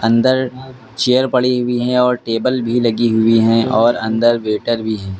अंदर चेयर पड़ी हुई है और टेबल भी लगी हुई है और अंदर वेटर भी है।